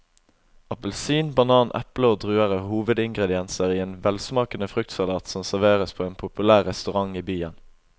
Appelsin, banan, eple og druer er hovedingredienser i en velsmakende fruktsalat som serveres på en populær restaurant i byen.